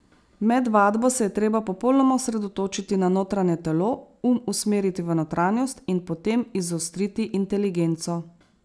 Med vadbo se je treba popolnoma osredotočiti na notranje telo, um usmeriti v notranjost in potem izostriti inteligenco.